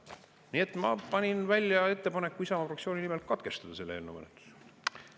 Nii et ma panin välja ettepaneku Isamaa fraktsiooni nimel katkestada selle eelnõu menetlus.